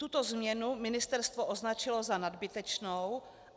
Tuto změnu ministerstvo označila za nadbytečnou.